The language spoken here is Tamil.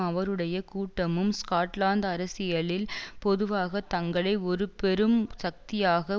அவருடைய கூட்டமும் ஸ்காட்லாந்து அரசியலில் பொதுவாக தங்களை ஒரு பெரும் சக்தியாக